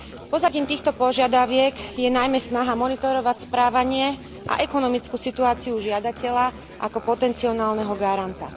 Pozadím týchto požiadaviek je najmä snaha monitorovať správanie a ekonomickú situáciu žiadateľa ako potencionálneho garanta.